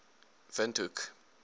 windhoek